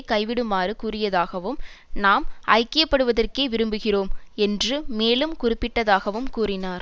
கைவிடுமாறு கூறியதாகவும் நாம் ஐக்கியப்படுவதற்கே விரும்புகிறோம் என்று மேலும் குறிப்பிட்டதாகவும் கூறினார்